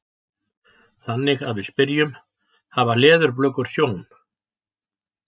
Þannig að við spyrjum: Hafa leðurblökur sjón?